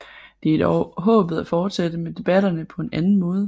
Det er dog håbet at fortsætte med debatterne på en anden måde